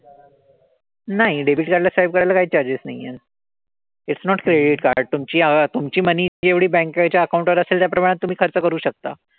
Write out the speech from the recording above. नाही debit card ला swipe करायला काहीच charges नाही आहेत. Its not credit card. तुमची तुमची money जेवढी banks च्या account वर असेल त्या प्रमाणात तुम्ही खर्च करू शकता.